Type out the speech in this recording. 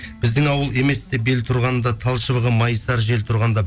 біздің ауыл еместі бел тұрғанда тал шыбығы майысар жел тұрғанда